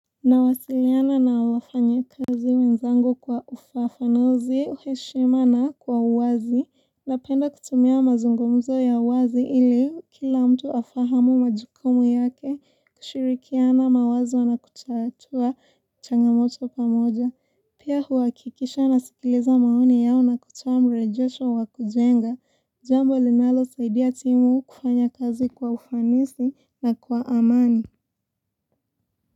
Nawasiliana na wafanyakazi wenzangu kwa ufafanuzi, uheshima na kwa uwazi, napenda kutumia mazungumzo ya uwazi ili kila mtu afahamu majukumu yake kushirikiana mawazo na kutatua changamoto pamoja. Pia huakikisha nasikiliza maoni yao na kutoa mrejosho wa kujenga, jambo linalosaidia timu kufanya kazi kwa ufanisi na kwa amani.